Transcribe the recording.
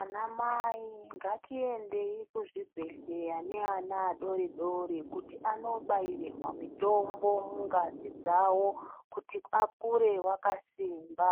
Anamai ngatiendeyi kuzvibhedhlera neana adori-dori, kuti andobairirwa mitombo mungazi dzawo, kuti akure vakasimba,